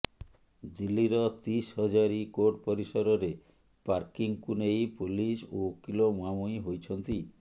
ଦିଲ୍ଲୀର ତିସହଜାରୀ କୋର୍ଟ ପରିସରରେ ପାର୍କିଂକୁ ନେଇ ପୋଲିସ ଓ ଓକିଲ ମୁହାଁମୁହିଁ ହୋଇଛନ୍ତି